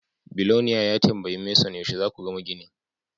Biloniare ya tambayi Manson yaushe za ku gama ginin.